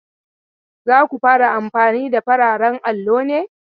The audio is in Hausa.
Za ku fara amfani da fararen allo ne?